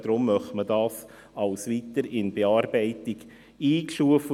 Deshalb möchte man dies als «weiter in Bearbeitung» einstufen.